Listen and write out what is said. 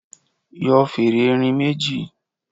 Yọ fèrè erin méjì.